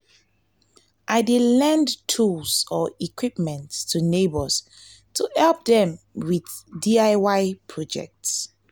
i dey lend tools or equipment to neighbors to help dem with diy projects.